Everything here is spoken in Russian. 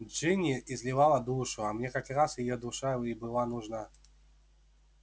джинни изливала душу а мне как раз её душа и была нужна